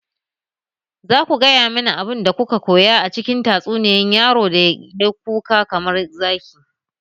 Za ku gaya mani abin da kuka koya a cikin tatsuniyar yaron da ya yi kuka kamar zaki!